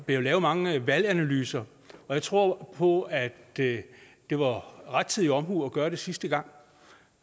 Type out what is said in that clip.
jo lavet mange valganalyser og jeg tror på at det det var rettidig omhu at gøre det sidste gang